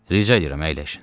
Rica edirəm əyləşin.